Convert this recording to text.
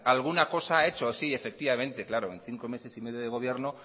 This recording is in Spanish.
alguna cosa ha hecho sí claro en cinco meses y medio de gobierno